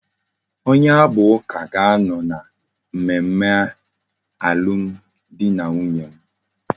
Onye abu uka ka ano na mmemme alum di na nwunye m